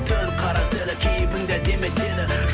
түн қарасы әлі кейіпіңді әдемі етеді